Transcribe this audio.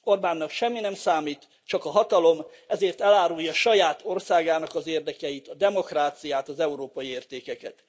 Orbánnak semmi nem számít, csak a hatalom, s ezért elárulja saját országának az érdekeit, a demokráciát, az európai értékeket.